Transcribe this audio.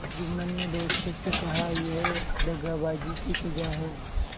जुम्मन ने दोस्तों से कहायह दगाबाजी की सजा है